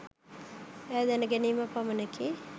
ඈ දැනගැනීම පමණකි